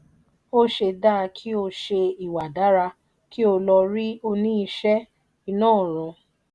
ose dá kí ó ṣe ìwà dára kí ó lọ rí òní ìṣe iná ọrùn.